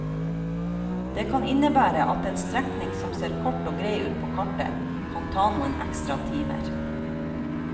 Det kan innebære at en strekning som ser kort og grei ut på kartet, kan ta noen ekstra timer.